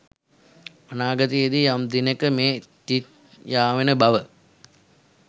අනාගතයේ යම් දිනෙක මේ තිත් යාවෙන බව